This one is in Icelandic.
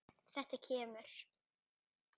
Þetta kemur.